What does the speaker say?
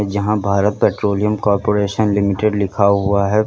यहां Bharat petroleum corporation limited लिखा हुआ है।